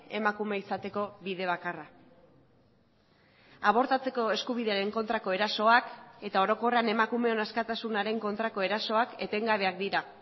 emakume izateko bide bakarra abortatzeko eskubidearen kontrako erasoak eta orokorrean emakumeon askatasunaren kontrako erasoak etengabeak dira